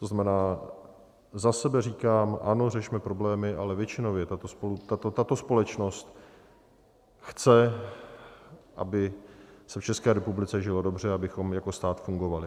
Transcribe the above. To znamená, za sebe říkám ano, řešme problémy, ale většinově tato společnost chce, aby se v České republice žilo dobře, abychom jako stát fungovali.